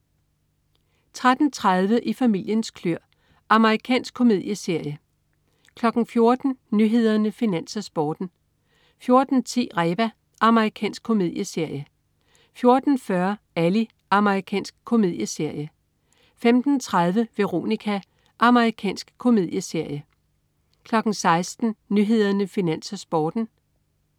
13.30 I familiens kløer. Amerikansk komedieserie (man-fre) 14.00 Nyhederne, Finans, Sporten (man-fre) 14.10 Reba. Amerikansk komedieserie (man-fre) 14.40 Ally. Amerikansk komedieserie (man-fre) 15.30 Veronica. Amerikansk komedieserie (man-fre) 16.00 Nyhederne, Finans, Sporten (man-fre)